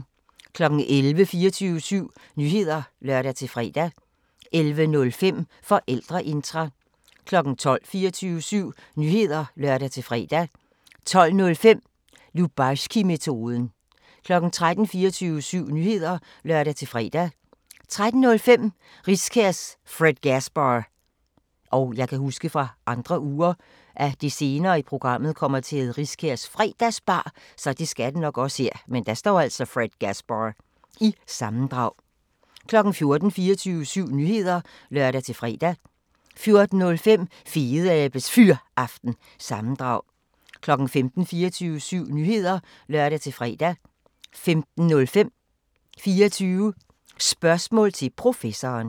11:00: 24syv Nyheder (lør-fre) 11:05: Forældreintra 12:00: 24syv Nyheder (lør-fre) 12:05: Lubarskimetoden 13:00: 24syv Nyheder (lør-fre) 13:05: Riskærs Fredgasbar- sammendrag 14:00: 24syv Nyheder (lør-fre) 14:05: Fedeabes Fyraften – sammendrag 15:00: 24syv Nyheder (lør-fre) 15:05: 24 Spørgsmål til Professoren